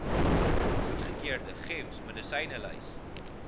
goedgekeurde gems medisynelys